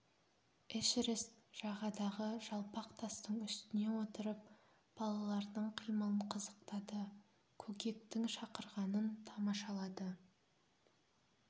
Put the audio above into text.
эшерест жағадағы жалпақ тастың үстіне отырып балалардың қимылын қызықтады көкектің шақырғанын тамашалады